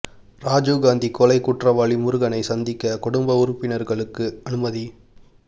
ராஜீவ் காந்தி கொலை குற்றவாளி முருகனை சந்திக்க குடும்ப உறுப்பினர்களுக்கு அனுமதி